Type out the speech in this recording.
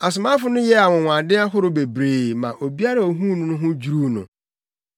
Asomafo no yɛɛ anwonwade ahorow bebree ma obiara a ohuu no ho dwiriw no.